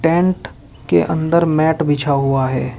Tent के अंदर mat बिछा हुआ है।